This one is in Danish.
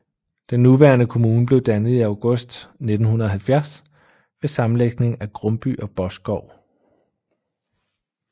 Den nuværende kommune blev dannet i august 1970 ved sammenlægning af Grumby og Boskov